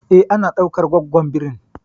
E, ana dukan gwaggon birin